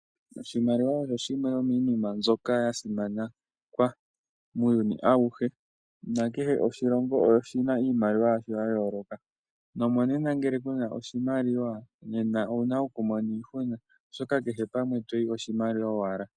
Oshimaliwa osho shimwe shomiinima mbyoka ya simanekwa muuyuni awuhe nakehe oshilongo oshina iimaliwa yasho ya yooloka, nomonena ngele kuna oshimaliwa oho mono iihuna oahoka kehe mpoka toyi oshimaliwa owala.